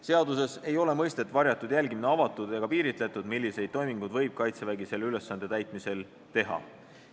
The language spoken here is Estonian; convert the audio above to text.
Seaduses ei ole mõistet "varjatud jälgimine" avatud ega piiritletud, milliseid toiminguid võib Kaitsevägi selle ülesande täitmisel teha.